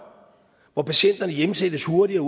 hvor patienterne hjemsendes hurtigere